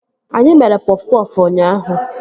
Anyị mere pọf pọfụ ụnyaahụ